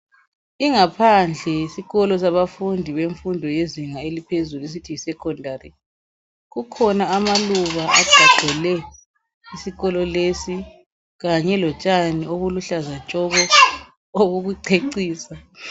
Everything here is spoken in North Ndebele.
Ingaphandle yesikolo sabafundi bezinga eliphezulu esithi yiSekhondari. Kukhona amaluba agqagqele isikolo lesi kanye lotshani obuluhlaza tshoko obokucecisa.